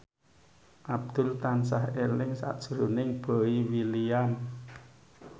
Abdul tansah eling sakjroning Boy William